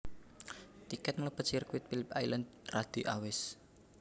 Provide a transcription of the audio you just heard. Tiket melebet sirkuit Philip Island radi awis